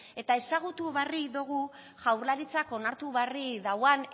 eta ezagutu berri dugu jaurlaritzak onartu barri dauan